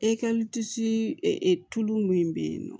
tulu min bɛ yen nɔ